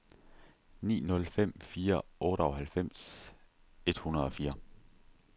ni nul fem fire otteoghalvfems et hundrede og fire